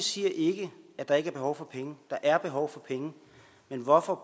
siger ikke at der ikke er behov for penge der er behov for penge men hvorfor